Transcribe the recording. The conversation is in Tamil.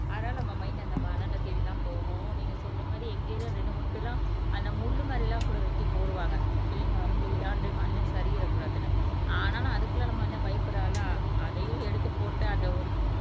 ஆனா நம்ம மைன்ட் அந்த மணலைத் தேடித்தான் போகும் நீங்க சொல்ற மாரி எங்க ஏரியால ரெண்டு மூணு பேருலாம் அந்த முள்ளு மாதிரி எல்லாம் கூட வெட்டி போடுவாங்க பிள்ளைங்க வந்து விளையாண்டு மண்ணு சரியிறக்கூடாதுன்னு ஆனாலும் அதுக்குல்லாம் நம்மதான் பயப்படறாளா அதையும் எடுத்து போட்டு அத ஒரு